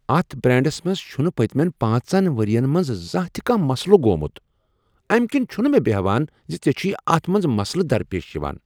اتھ برانٛڈس منٛز چھ نہٕ پٔتۍمین پانٛژن ؤرین منٛز زانٛہہ تہ کانٛہہ مسلہٕ گوٚمت، امہ کنۍ چھنہٕ مےٚ بیہوان زِ ژےٚ چھُے اتھ منٛز مسلہٕ درپیش یوان۔